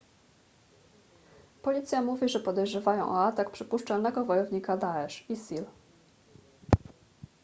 policja mówi że podejrzewają o atak przypuszczalnego wojownika daesh isil